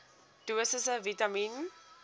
dosisse vitamien